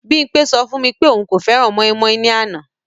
Bimpé sọ fún mi pé òun kò fẹ́ran mọ́ímọ́í ní àná